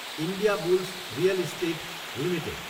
Indiabulls real estate Ltd